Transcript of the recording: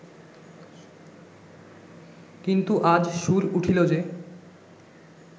কিন্তু আজ সুর উঠিল যে